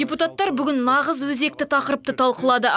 депутаттар бүгін нағыз өзекті тақырыпты талқылады